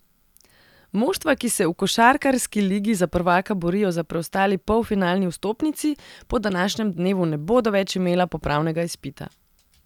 Moštva, ki se v košarkarski ligi za prvaka borijo za preostali polfinalni vstopnici, po današnjem dnevu ne bodo več imela popravnega izpita.